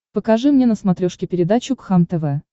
покажи мне на смотрешке передачу кхлм тв